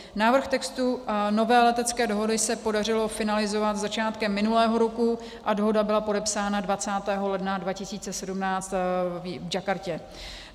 Návrh textu nové letecké dohody se podařilo finalizovat začátkem minulého roku a dohoda byla podepsána 20. ledna 2017 v Jakartě.